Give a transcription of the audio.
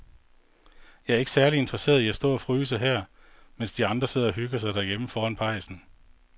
Jeg er ikke særlig interesseret i at stå og fryse her, mens de andre sidder og hygger sig derhjemme foran pejsen.